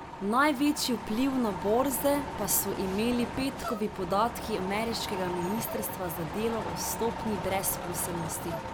Največji vpliv na borze pa so imeli petkovi podatki ameriškega ministrstva za delo o stopnji brezposelnosti.